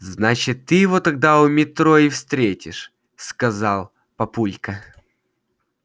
значит ты его тогда у метро и встретишь сказал папулька